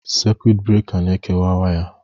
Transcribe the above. Sekụit breka na-ekewa waya.